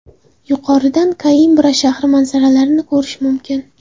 Yuqoridan Koimbra shahri manzaralarini ko‘rish mumkin.